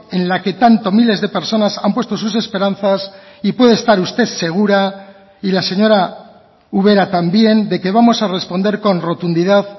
en la que tanto miles de personas han puesto sus esperanzas y puede estar usted segura y la señora ubera también de que vamos a responder con rotundidad